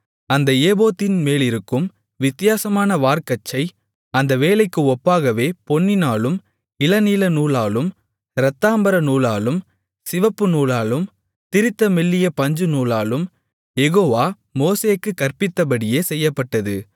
அந்த ஏபோத்தின்மேலிருக்கும் வித்தியாசமான வார்க்கச்சை அந்த வேலைக்கு ஒப்பாகவே பொன்னினாலும் இளநீலநூலாலும் இரத்தாம்பரநூலாலும் சிவப்புநூலாலும் திரித்த மெல்லிய பஞ்சுநூலாலும் யெகோவா மோசேக்குக் கற்பித்தபடியே செய்யப்பட்டது